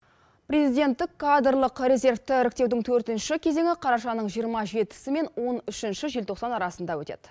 президенттік кадрлық резервті іріктеудің төртінші кезеңі қарашаның жиырма жетісі мен он үшінші желтоқсан арасында өтеді